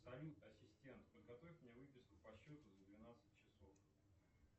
салют ассистент подготовь мне выписку по счету за двенадцать часов